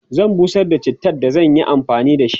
zan busar da chittan da zan Yi amfani da shi